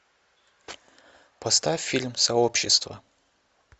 поставь фильм сообщество